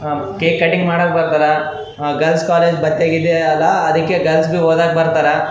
Cake cutting ಮಾಡಾಕ್ ಬರ್ತಾರ girls college ಬತ್ತೆಗೀತ ಅದ ಅದಕ್ಕೆ ಓದಕ್ಕ್ ಬರ್ತಾರ.